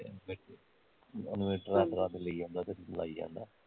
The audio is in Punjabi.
ਇਨਵੇਟਰਾਂ ਲਈ ਜਾਂਦਾ ਤਾਂ ਲਾਈ ਜਾਂਦਾ